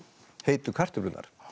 heitu kartöflurnar